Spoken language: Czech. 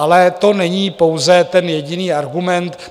Ale to není pouze ten jediný argument.